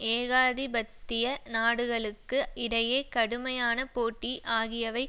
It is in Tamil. ஏகாதிபத்திய நாடுகளுக்கு இடையே கடுமையான போட்டி ஆகியவை